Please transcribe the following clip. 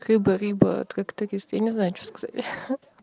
рыба рыба трактористы не знаю что сказать ха